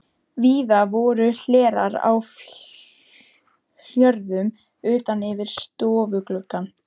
Víða voru hlerar á hjörum utan yfir stofugluggum.